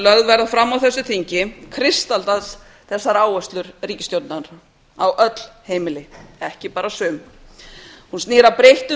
lögð verða fram á þessu þingi kristallast þessar áherslur ríkisstjórnarinnar á öll heimili ekki bara sum hún snýr að breyttum